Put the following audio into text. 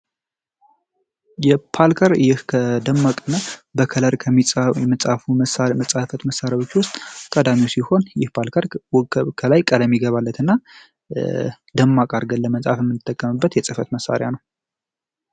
የፓልከር ይህ ከደማቅመ በከለር ከሚፉ መጻሕፈት መሣሪያዎች ውስጥ ከዳሚው ሲሆን ይህ ፓልከር ውከብ ከላይ ቀለሚ ይገባለት እና ደማቃ አድርገን ለመጻሐፍ እንድተከምበት የጽፈት መሣሪያ ነው።